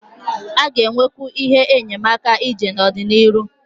A ga-enwekwu ihe enyemaka ije n'ọdịnihu.